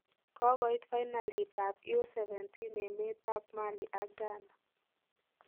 Kogoiit fainalit ab U17 emet ab Mali ak Ghana.